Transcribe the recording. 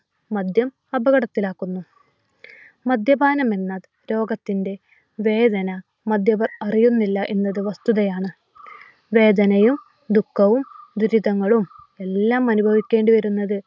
മദ്യം അപകടത്തിൽ ആക്കുന്നു. മദ്യപാനമെന്ന രോഗത്തിന്റെ വേദന മദ്യം അറിയുന്നില്ല എന്നത് വസ്തുതയാണ്. വേദനയും, ദുഃഖവും, ദുരിതങ്ങളും എല്ലാം അനുഭവിക്കേണ്ടി വരുന്നത്